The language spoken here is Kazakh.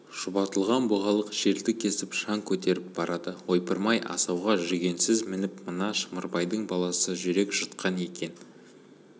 шұбатылған бұғалық жерді кесіп шаң көтеріп барады ойпырмай асауға жүгенсіз мініп мына шымырбайдың баласы жүрек жұтқан екен